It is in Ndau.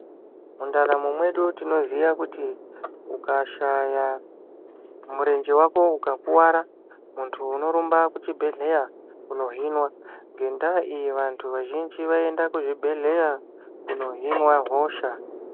Mundaramo mwedu tinoziya kuti ukashaya murenge vako ukakuvara muntu unorumba kuchibhedhleya kunohinwa. Ngendaa iyi vantu vazhinji vaienda kuzvibhedhleya kunohinwa hosha.